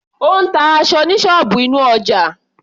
Ó ń ta aṣọ ní ṣọ́ọ̀bù inú ọjà.